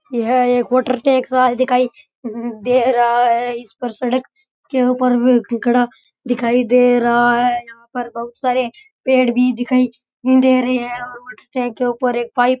ये है एक वाटर टैंक सा दिखाई दे रहा है उसके ऊपर भी घड़ा दिखाई दे रहा है यहाँ पर बहुत सारे पेड़ भी दिखाई दे रहे है और वाटर टैंक के ऊपर एक पाइप --